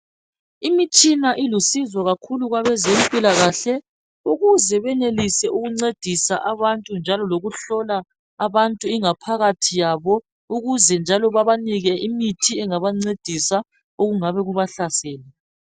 Imitshina ilusizo kakhulu kwabezempilakahle ukuze benelise ukuncedisa abantu njalo lokuhlola abantu ingaphakathi yabo ukuze njalo babanike imithi engabancedisa okungabe kubahlasele.